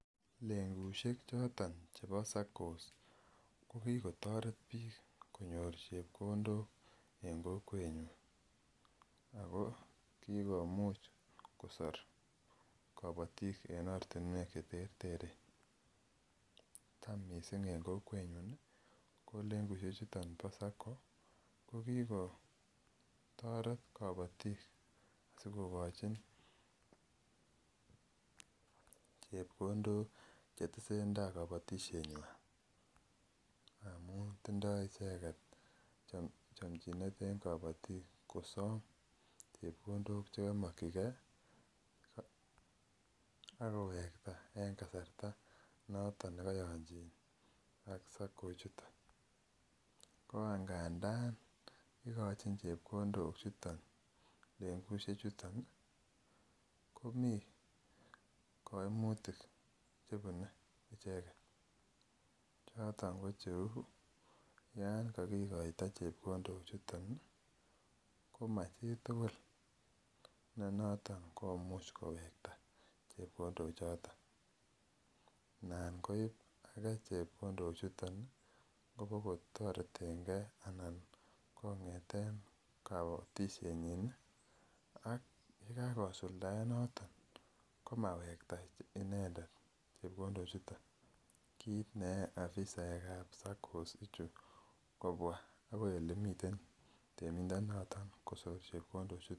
Lengushe choton chebo saccos ko kikotoret biik konyor chepkondok en kokwenyon ak ko kikomuch kosor kobotik en ortinwek cheterteren, taam mising en kokwenyun ko lengushe chuton bo sacco ko kikotoret koboyik sikokochin chepkondok chetesen taai kobotishenywan amun tindo icheket chomchinet en kobotik kosom chepkondok chekomokyike ak kowekta en kasarta nekoyonchin ak sacco ichuton, ko ndandan ikochin chepkondo chuton lengushe chuton komii koimutik chebune icheket choton ko cheuu yoon kokikoito chepkondo chuton komo chitukul nenoton komuch kowekta chepkondo choton, nan koib akee chepkondo chuton kobokotoretenge anan kongeten kobotishenyin ak yekakosuldaen noton komawekta inendet chepkondo chuton kiit ne yoe afisaekab saccos ichu kobwa akoi elemiten temindonoton kosor chepkondo chuton.